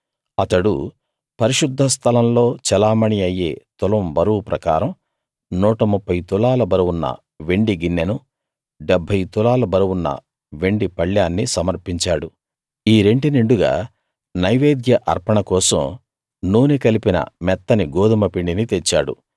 అతడు పరిశుద్ధ స్థలంలో చెలామణీ అయ్యే తులం బరువు ప్రకారం 130 తులాల బరువున్న వెండి గిన్నెనూ 70 తులాల బరువున్న వెండి పళ్ళేన్నీ సమర్పించాడు ఈ రెంటి నిండుగా నైవేద్య అర్పణ కోసం నూనె కలిపిన మెత్తని గోదుమ పిండిని తెచ్చాడు